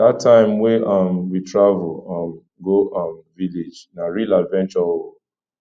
dat time wey um we travel um go um village na real adventure o